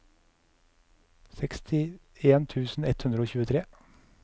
sekstien tusen ett hundre og tjuetre